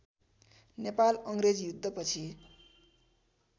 नेपाल अङ्ग्रेज युद्धपछि